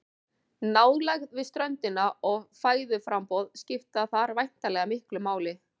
Nálægð við ströndina og fæðuframboð skipta þar væntanlega miklu máli.